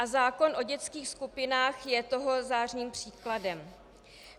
A zákon o dětských skupinách je toho zářným příkladem.